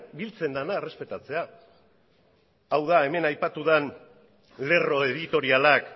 biltzen dena errespetatzea hau da hemen aipatu den lerro editorialak